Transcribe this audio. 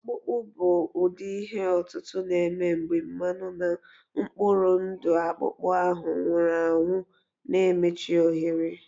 Ọkpụkpụ bụ ụdị ihe otutu na-eme mgbe mmanụ na mkpụrụ ndụ akpụkpọ ahụ nwụrụ anwụ na-emechi ohere